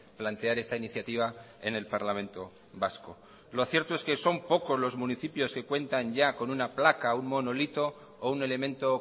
plantear esta iniciativa en el parlamento vasco lo cierto es que son pocos los municipios que cuentan ya con una placa o un monolito o un elemento